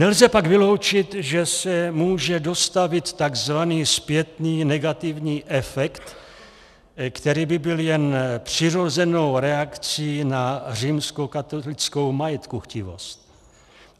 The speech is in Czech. Nelze pak vyloučit, že se může dostavit tzv. zpětný negativní efekt, který by byl jen přirozenou reakcí na římskokatolickou majetkuchtivost.